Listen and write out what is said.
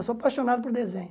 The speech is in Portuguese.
Eu sou apaixonado por desenho.